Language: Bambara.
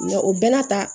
Nka o bɛɛ n'a ta